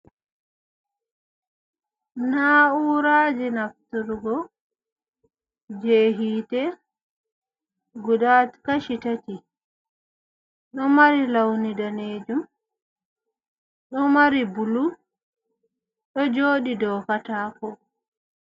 Naa'uuraji nafturgo, jee hiite, gudda kashi tati. Ɗo mari lawni daneejum, ɗo mari bulu, ɗo jooɗi dow kataako.